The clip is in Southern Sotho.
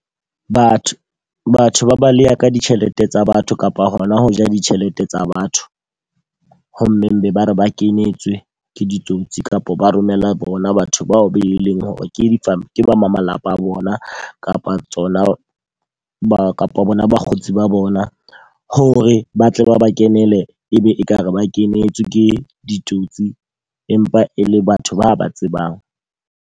Batho, batho ba baleya ka ditjhelete tsa batho kapa hona ho ja ditjhelete tsa batho. Ho mmeng be ba re ba kenyetswe ke ditsotsi kapa ba romela bona batho bao be leng hore ke di ke ba malapa a bona kapa tsona ba kapa bona bakgotsi ba bona. Hore ba tle ba ba kenele, e be e ka re ba kenetswe ke ditsotsi empa e le batho ba ba tsebang.